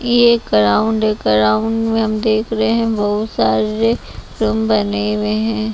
यह ग्राउंड है ग्राउंड में हम देख रहे हैं बहुत सारे रूम बने हुए हैं।